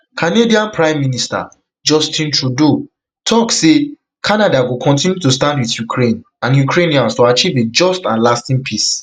canadian prime minister justin trudeau tok say canada go continue to stand wit ukraine and ukrainians to achieve a just and lasting peace